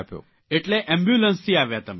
એટલે એમ્બ્યુલન્સથી આવ્યા તમે